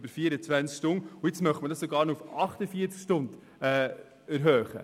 Nun will man hier die Frist sogar auf 48 Stunden erweitern.